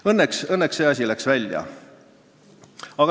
Õnneks jäi see asi seadusest välja.